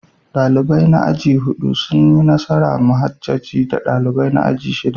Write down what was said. Dalibai na aji na hudu sun yi nasara a muhajjaji da dalibai na aji na shida.